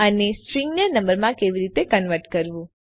અને સ્ટ્રીંગને નંબરમાં કેવી રીતે કન્વર્ટ કરવું